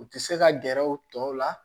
U tɛ se ka gɛrɛ u tɔw la